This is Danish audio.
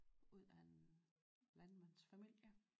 Ud af en landmandsfamilie